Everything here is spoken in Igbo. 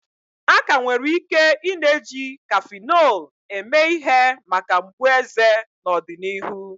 A ka nwere ike i-na eji kafinol eme ihe maka mgbu eze n'ọdịnihu.